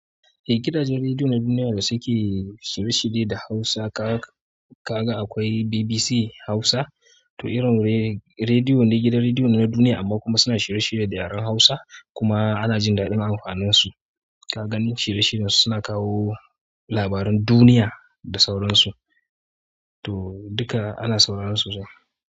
Eh gidajen rediyo na duniya da suke shirye-shirye da Hausa ka, ka ga akwai BBC Hausa to irin rediyo, rediyo na gidan rediyo na duniya amma kuma suna shirye-shirye da yaren Hausa kuma ana jin daɗin amfanin su. Ka ganin shirye-shiryen su suna kawo labaran duniya da sauran su, to duka ana sauran sosai.